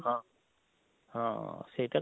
ହଁ ହଁ ସେଇଟା,